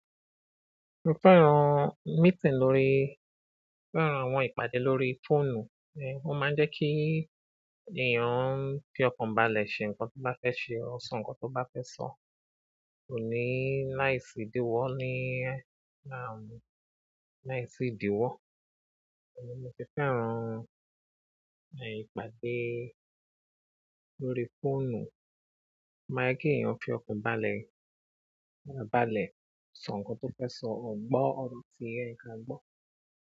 Mo fẹ́ran meeting lórí, fẹ́ran àwọn ìpàdé lórí fóònù, ó máa ń jẹ́ kí èèyàn fi ọkàn balẹ̀ ṣe nǹkan tó bá fẹ́ ṣe, or sọ nǹkan tó bá fẹ́ sọ, kò ní nice kí gbogbo wa, láìsí ìdíwọ́. Ọ̀rẹ́ mi ti fẹ́ran, ìpàdé lórí fóònù. Ó ma ń jẹ́ kí èèyàn fi ọkàn balẹ̀, balẹ̀, sọ ǹkan tó fẹ́ sọ, ọ̀ọ́ gbọ́ ọ̀rọ̀ tí ó yẹ kan gbọ́.